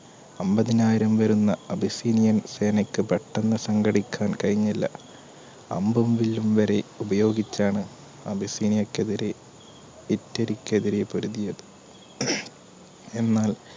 ഒമ്പതിനായിരം വെരുന്ന അപസീനിയൻ സേനക്ക് പെട്ടന്ന് സങ്കടിക്കാൻ കഴിഞില്ല അമ്പും വില്ലും വരെ ഉപയോഗിച്ചാണ് അപസീനിയക്കെതിരെ ഇറ്റലിക്കെതിരെ പൊരുതിയത് എന്നാൽ